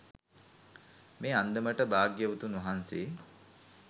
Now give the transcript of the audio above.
මේ අන්දමට භාග්‍යවතුන් වහන්සේ